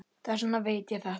Þess vegna veit ég þetta.